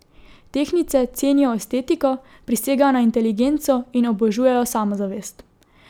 Tehtnice cenijo estetiko, prisegajo na inteligenco in obožujejo samozavest.